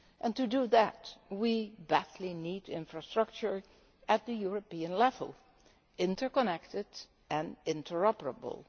To do that, we badly need infrastructure at the European level, interconnected and interoperable.